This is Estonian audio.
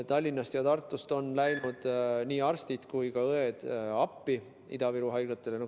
Tallinnast ja Tartust on läinud nii arstid kui ka õed Ida-Viru haiglatele appi.